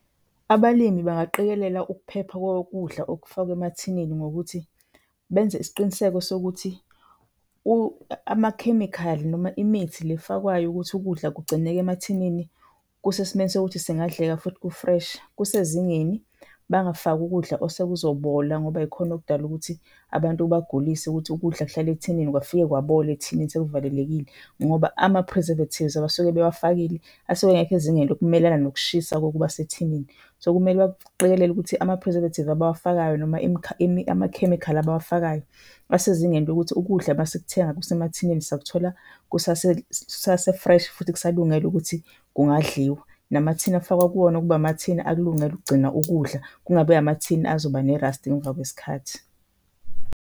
Abalimi bangaqikelela ukuphepha kokudla okufakwa emathineni ngokuthi benze isiqiniseko sokuthi amakhemikhali noma imithi le efakwayo ukuthi ukudla kugcineke emathineni kusesimeni sokuthi singadleka futhi ku-fresh, kusezingeni. Bangafaki ukudla osekuzobola ngoba yikhona okudala ukuthi abantu kubagulise ukuthi ukudla kuhlala ethineni, kwafike kwabola ethineni sekuvalelekile. Ngoba ama-preservatives abasuke bewafakile asuke engekho ezingeni lokumelana nokushisa kokuba sethineni. So, kumele baqikelele ukuthi ama-preservative abawafakayo noma amakhemikhali abawafakayo asezingeni lokuthi ukudla masikuthenga kusemathineni sakuthola kusase-fresh futhi kusalungele ukuthi kungadliwa. Namathina afakwa kuwona kube amathina akulungele ukugcina ukudla, kungabi amathini azoba nerasti ngemva kwesikhathi.